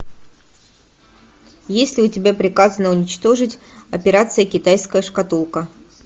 есть ли у тебя приказано уничтожить операция китайская шкатулка